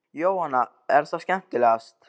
Jóhanna: Er það skemmtilegast?